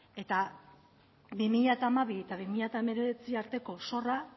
eta bi mila hamabi eta bi mila hemeretzi arteko zorra